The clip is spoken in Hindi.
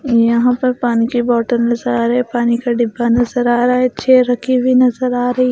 यहां पर पानी की बोतल नजर आ रही है पानी का डिब्बा नजर आ रहा है छेर रखी हुई नजर आ रही है ।